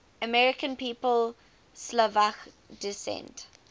american people of slovak descent